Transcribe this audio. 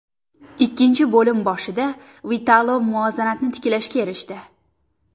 Ikkinchi bo‘lim boshida Vitolo muvozanatni tiklashga erishdi.